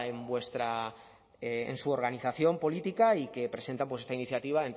en su organización política y que presentan esta iniciativa